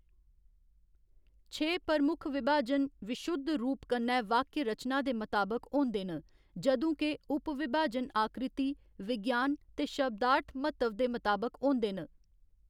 छे प्रमुख विभाजन विशुद्ध रूप कन्नै वाक्य रचना दे मताबक होंदे न, जदूं के उप विभाजन आकृति विज्ञान ते शब्दार्थ म्हत्तव दे मताबक होंदे न।